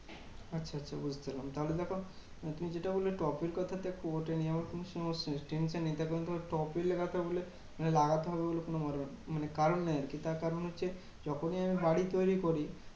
আচ্ছা আচ্ছা বুঝতে পারলাম। তাহলে দেখো তুমি যেটা বললে টবের কথাটা তো ঐটা নিয়েও কোনো সমস্যা নেই। tension নেই তার কারণ টবে লাগাচ্ছি বলে লাগাতে হবে ওগুলো কোনো মানে কারণ নেই আর কি। তার কারণ হচ্ছে যখনি আমি বাড়ি তৈরী করি